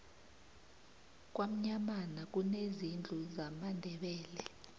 kwamnyamana kunezindlu zamandebele